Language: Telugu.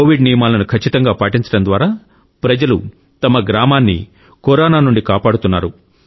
కోవిడ్ నియమాలను ఖచ్చితంగా పాటించడం ద్వారా ప్రజలు తమ గ్రామాన్ని కరోనా నుండి కాపాడుతున్నారు